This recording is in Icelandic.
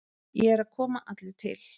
Ég er að koma allur til.